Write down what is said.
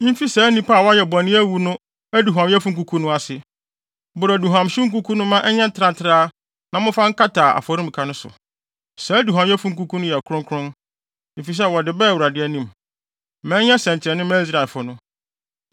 mfi saa nnipa a wɔayɛ bɔne awu no aduhuamyɛfo nkuku no ase. Boro aduhuamhyew nkuku no mma ɛnyɛ ntrantraa na momfa nkata afɔremuka no so. Saa aduhuamyɛfo nkuku yi yɛ kronkron, efisɛ wɔde baa Awurade anim. Ma ɛnyɛ nsɛnkyerɛnne mma Israelfo no.”